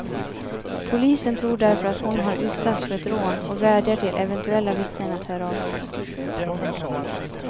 Polisen tror därför att hon har utsatts för ett rån och vädjar till eventuella vittnen att höra av sig.